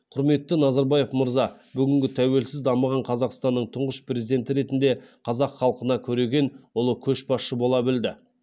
құрметті назарбаев мырза бүгінгі тәуелсіз дамыған қазақстанның тұңғыш президенті ретінде қазақ халқына көреген ұлы көшбасшы бола білді